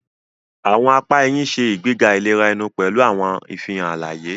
Awọn apá ẹhìn ṣe ìgbéga ìlera ẹnu pẹlu awọn ìfihàn alaye.